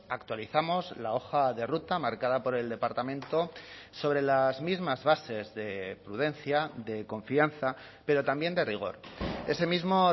actualizamos la hoja de ruta marcada por el departamento sobre las mismas bases de prudencia de confianza pero también de rigor ese mismo